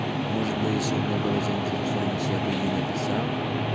может бы если у меня была заинтересованность я бы ей написал